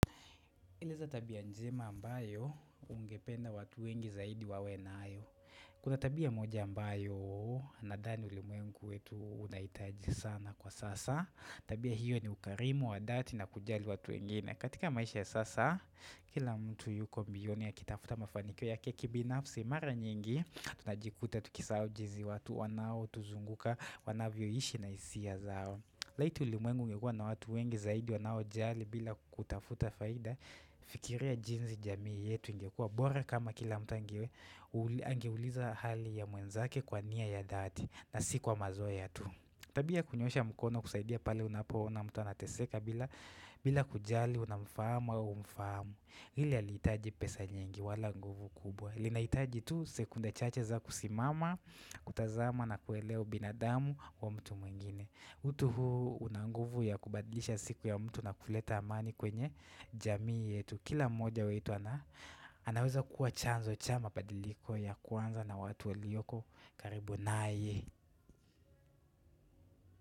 Eleza tabia njema ambayo ungependa watu wengi zaidi wawe nayo. Kuna tabia moja ambayo nadhani ulimwengu wetu unahitaji sana kwa sasa. Tabia hiyo ni ukarimu, wadhati na kujali watu wengine. Katika maisha ya sasa, kila mtu yuko mbioni akitafuta mafanikio yake kibinafsi. Mara nyingi, tunajikuta, tukisahao jinsi watu, wanaotuzunguka, wanavyoishi na hisia zao. Laiti ulimwengu ungekua na watu wengi zaidi wanao jali bila kutafuta faida fikiria jinsi jamii yetu ingekua. Bora kama kila mtu ange hu uliza hali ya mwenzake kwa nia ya dhati na sikwa mazoea tu. Tabia ya kunyoosha mkono kusaidia pale unapoona mtu anateseka bila kujali unamfahamu au humfahamu. Ile alihitaji pesa nyingi wala nguvu kubwa. Linahitaji tu sekunda chache za kusimama, kutazama na kuelewa binadamu wa mtu mwingine. Utu huu una nguvu ya kubadilisha siku ya mtu na kuleta amani kwenye jamii yetu Kila mmoja wetu anaweza kuwa chanzo cha mapadiliko ya kwanza na watu walioko karibu naye.